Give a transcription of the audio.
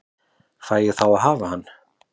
Fæ ég þá að hafa hann?